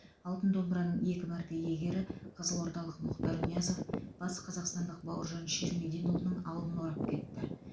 алтын домбыраның екі мәрте иегері қызылордалық мұхтар ниязов батысқазақстандық бауыржан ширмединұлының алдын орап кетті